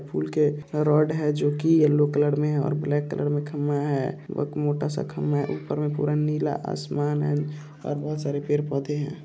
ये पुल के रड है जो कि येलो कलर में है और ब्लैक कलर में खंभा है एक मोटा सा खंभा है ऊपर में पूरा नीला आसमान है और बहुत सारे पेड़-पौधे है।